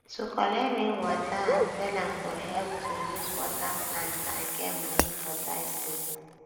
to collect rain water and sell am go help to use water plants and get money for dry season